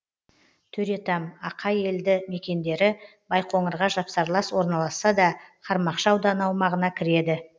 төретам ақай елді мекендері байқоңырға жапсарлас орналасса да қармақшы ауданы аумағына кіреді